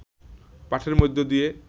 পাঠের মধ্য দিয়ে